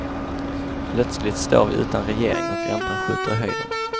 Plötsligt står vi utan regering och räntan skjuter i höjden.